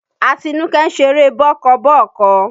Atínúké ń ṣeré bọ́ọ́kọ́ bọ́ọ̀kọ